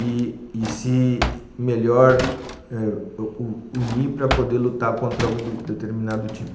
e e e se melhor unir eh para poder lutar contra algum determinado tipo.